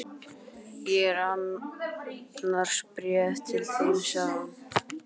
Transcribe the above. Ég er annars með bréf til þín sagði hún.